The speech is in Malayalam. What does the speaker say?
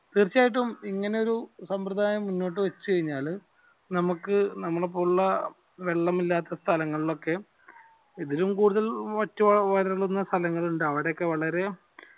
തീർച്ചയായിട്ടും ഇങ്ങനൊരു സംവൃദായം മുന്നോട്ട് വച്ച് കനിഞ്ഞാൽ നമുക്ക് നമ്മളെ പോലുള്ള വെള്ളമില്ലാത്ത സ്ഥലങ്ങളിൾ ഒക്കെ ഇതിലും കൂടുതൽ വറ്റി വരളുന്ന സ്ഥലങ്ങൾ ഉണ്ട് അവിടെയൊക്കെ വളരെ